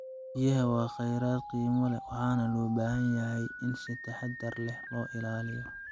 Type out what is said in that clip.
Biyaha waa khayraad qiimo leh waxaana loo baahan yahay in si taxaddar leh loo ilaaliyo.